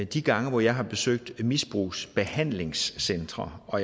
de gange hvor jeg har besøgt misbrugsbehandlingscentre og